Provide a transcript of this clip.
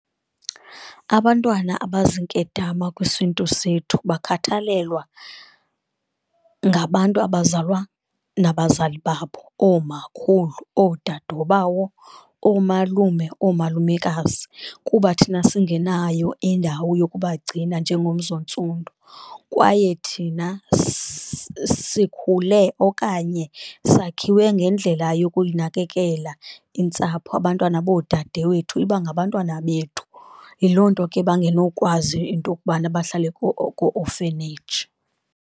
Abantwana abaziinkedama kwisiNtu sethu bakhathalelwa ngabantu abazalwa nabazali babo, oomakhulu, oodadobawo, oomalume, oomalumekazi kuba thina singenayo indawo yokubagcina njengomzi onstundu. Kwaye thina sikhule okanye sakhiwe ngendlela yokuyinakekela iintsapho, abantwana boodade wethu ibangabantwana bethu, yiloo nto ke abangenokwazi into yokubana bahlale koo-orphanage.